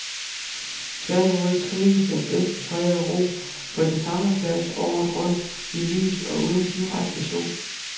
Tværtimod trives den bedst i fred og ro, på den samme plads året rundt, i lys og uden direkte sol.